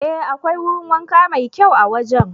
Ee, akwai wurin wanka mai kyau a wajen.